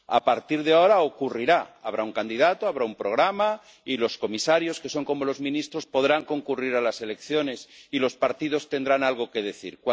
A partir de ahora ocurrirá habrá un candidato, habrá un programa, y los comisarios, que son como los ministros, podrán concurrir a las elecciones y los partidos tendrán algo que decir.